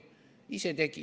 Ise tegite.